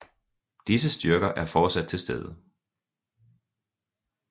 Disse styrker er fortsat til stede